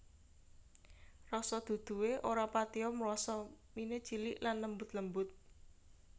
Rasa duduhe ora patiya mrasa mine cilik lan lembut lembut